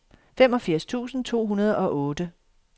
femogfirs tusind to hundrede og otte